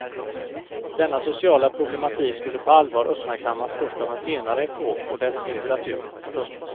Denna sociala problematik skulle på allvar uppmärksammas först av en senare epok och dess litteratur. punkt